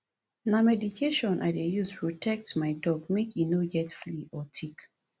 na medication i dey use protect my dog make e no get flea or tick